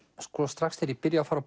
strax þegar ég byrja að fara á